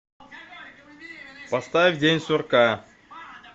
поставь день сурка